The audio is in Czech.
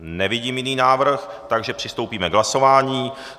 Nevidím jiný návrh, takže přistoupíme k hlasování.